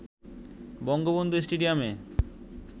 বঙ্গবন্ধু স্টেডিয়ামে